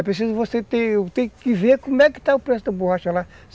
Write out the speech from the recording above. É preciso você ter, tem que ver como é que está o preço da borracha lá.